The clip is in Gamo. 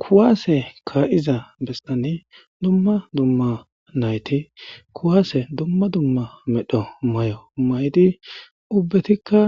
Kuwase kaa7iza bessani dumma dumma nayti kuwaase dumma dumma medho mayo maydi ubetika